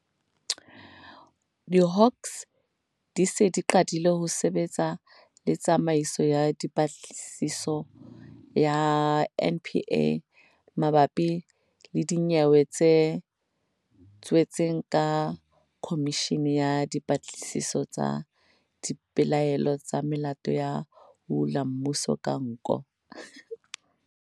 Hawks di se di qadile ho sebetsa le Tsamaiso ya Dipatlisiso ya NPA mabapi le dinyewe tse tswetsweng ke khomishene ya dipatlisiso tsa dipelaelo tsa melato ya ho hula mmuso ka nko.